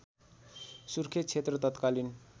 सुर्खेत क्षेत्र तत्कालीन